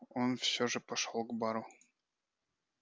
но он все же пошёл к бару